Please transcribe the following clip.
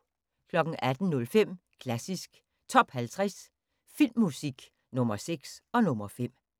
18:05: Klassisk Top 50 Filmmusik – Nr. 6 og nr. 5